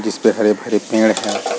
जिसपे हरे-भरे पेड़ है।